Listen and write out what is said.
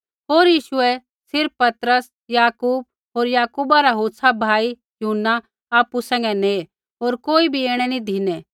होर यीशुऐ सिर्फ़ पतरस याकूब होर याकूबा रा होछ़ा भाई यूहन्ना आपु सैंघै नेऐ होर कोई नी ऐणै धिनै